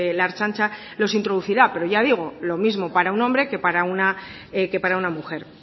la ertzaintza los introducirá pero ya digo lo mismo para un hombre que para una mujer